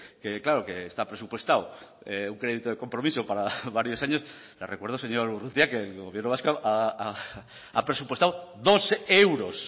que claro que está presupuestado un crédito de compromiso para varios años le recuerdo señor urrutia que el gobierno vasco ha presupuestado dos euros